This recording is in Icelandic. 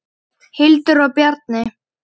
Hildur og Bjarni.